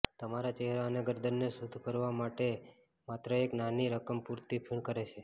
તમારા ચહેરા અને ગરદનને શુદ્ધ કરવા માટે માત્ર એક નાની રકમ પૂરતી ફીણ કરે છે